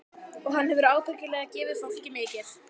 Og hann hefur ábyggilega gefið fólki mikið.